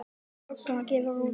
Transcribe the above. Ugla gefur út.